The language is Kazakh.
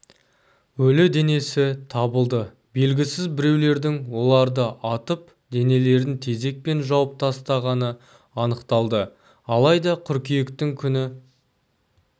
өлі денесі табылды белгісіз біреулердің оларды атып денелерін тезеккпен жауып тастағаны анықталды алайда қыркүйектің күні